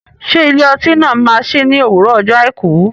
Ṣé ilé ọtí náà máa sí ní òwúrọ̀ ọjọ́ àìkú?